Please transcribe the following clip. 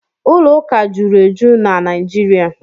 Ụlọ ụka jụrụ eju na Naijiria.